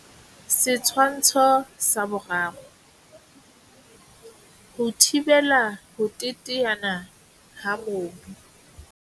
Setshwantsho sa 3. Ho thibela ho teteana ha mobu.